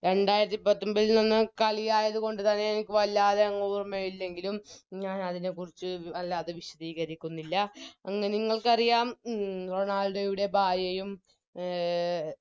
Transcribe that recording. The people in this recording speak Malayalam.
രണ്ടായിരത്തി പത്തൊമ്പതിൽ വന്ന കളിയായത്കൊണ്ട് തന്നെ എനിക്ക് വല്ലാതെയങ് ഓർമ്മയില്ലെങ്കിലും ഞാനതിനെക്കുറിച്ച് വല്ലാതെ വിശതീകരിക്കുന്നില്ല അന്ന് നിങ്ങൾക്കറിയാം ഉം റൊണാൾഡോയുടെ ഭാര്യയും അഹ്